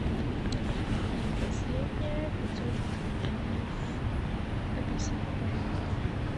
и последнее пятьсот граммов апельсинов пожалуйста